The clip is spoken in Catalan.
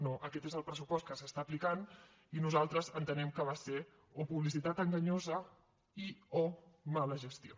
no aquest és el pressupost que s’està aplicant i nosaltres entenem que va ser o publicitat enganyosa i o mala gestió